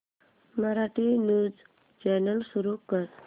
Marathi news channel सुरू कर